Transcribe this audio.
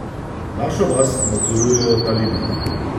Našo vas nadzorujejo talibi.